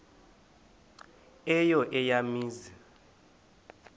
eyo eya mizi